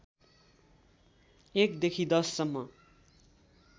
१ देखि १० सम्म